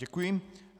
Děkuji.